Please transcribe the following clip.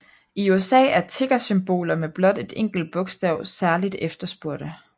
I USA er tickersymboler med blot et enkelt bogstav særligt efterspurgte